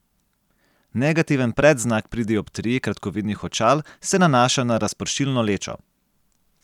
Negativen predznak pri dioptriji kratkovidnih očal se nanaša na razpršilno lečo.